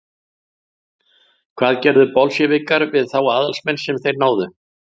hvað gerðu bolsévikar við þá aðalsmenn sem þeir náðu